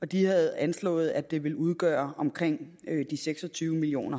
de havde anslået at det ville udgøre omkring seks og tyve million